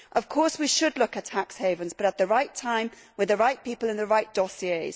Of course we should look at tax havens, but at the right time with the right people on the right dossiers.